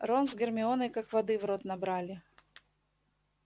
рон с гермионой как воды в рот набрали